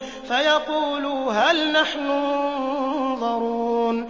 فَيَقُولُوا هَلْ نَحْنُ مُنظَرُونَ